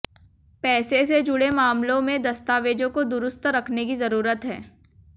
पैसे से जुड़े मामलों में दस्तावेजों को दुरुस्त रखने की जरूरत है